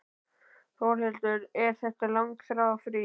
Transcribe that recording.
Þórhildur: Er þetta langþráð frí?